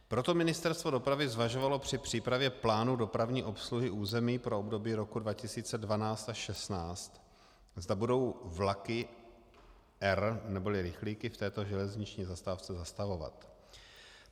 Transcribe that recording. Proto Ministerstvo dopravy zvažovalo při přípravě plánu dopravní obsluhy území pro období roku 2012 až 2016, zda budou vlaky R neboli rychlíky v této železniční zastávce zastavovat.